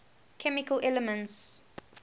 chemical elements